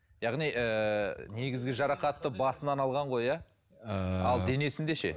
яғни ыыы негізгі жарақатты басынан алған ғой иә ыыы ал денесінде ше